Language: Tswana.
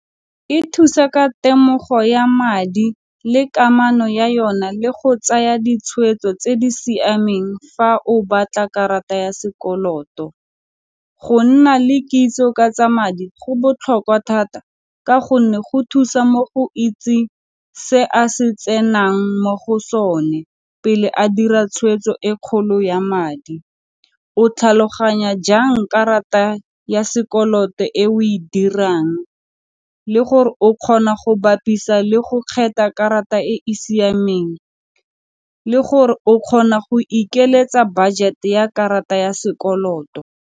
E thusa ka temogo ya madi le kamano ya yona le go tsaya ditshwetso tse di siameng fa o batla karata ya sekoloto. Go nna le kitso ka tsa madi go botlhokwa thata ka gonne go thusa mo go itseng se a se tsenang mo go sone pele a dira tshweetso e kgolo ya madi. O tlhaloganya jang karata ya sekoloto e o e dirang le gore o kgona go bapisa le go kgetha karata e e siameng, le gore o kgona go ikeletsa budget-e ya karata ya sekoloto.